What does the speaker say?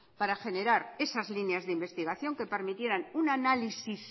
para generar esas líneas de investigación que permitieran un análisis